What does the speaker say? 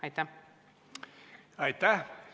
Aitäh!